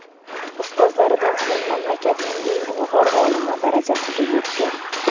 Ustozlaridan so‘ng mamlakatning eng ilg‘or olimi darajasiga yetgan.